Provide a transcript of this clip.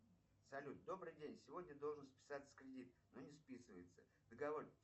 салют добрый день сегодня должен списаться кредит но не списывается договор